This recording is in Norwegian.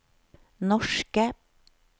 norske